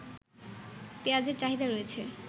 পেঁয়াজের চাহিদা রয়েছে